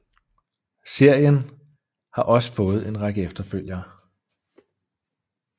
Serien har også fået en række efterfølgere